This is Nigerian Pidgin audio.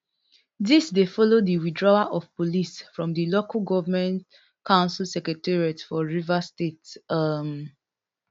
dis dey follow di withdrawal of police from di local goment council secretariats for rivers state um